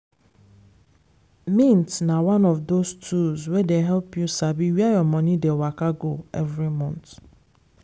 mint na one of those tools wey dey help you sabi where your money dey waka go every month.